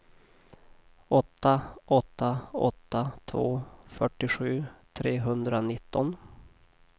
åtta åtta åtta två fyrtiosju trehundranitton